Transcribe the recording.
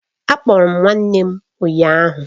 A kpọrọ m nwanne m ụnyahụ